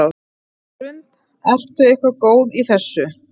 Hrund: Ertu eitthvað góður í þessu?